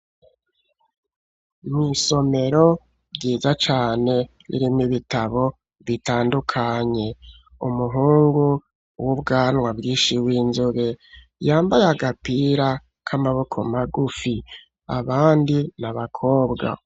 Mw'isomero ryiza cane ririmwo ibitabo bitandukanye. Umuhungu w'ubwanwa bwinshi w'inzobe, yambaye agapira k'amaboko magufi. Abandi ni abakobwa.